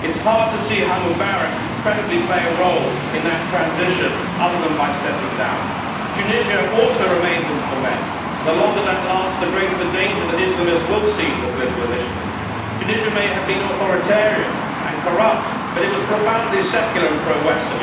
It is hard to see how Mubarak can credibly play a role in that transition other than by stepping down. Tunisia also remains in ferment, and the longer that lasts the greater the danger that Islamists will seize the political initiative. Tunisia may have been authoritarian and corrupt, but it was profoundly secular and pro Western